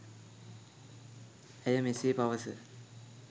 ඇය මෙසේ පවස